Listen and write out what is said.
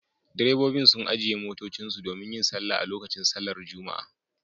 Direbobin sun ajiye motocinsu domin yin sallah a lokacin sallar Juma'a